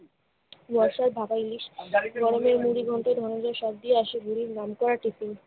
বর্ষায় ভাপা ইলিশ, গরমে মুড়িঘণ্ট, ধনঞ্জয়ের সবজি আসে গুরুর